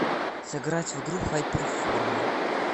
сыграть в игру хайперформа